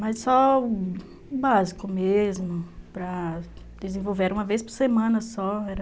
Mas só o básico mesmo, para desenvolver, era uma vez por semana só, era...